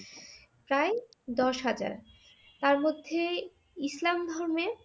প্রায় দশ হাজার । তার মধ্যে ইসলাম ধর্মে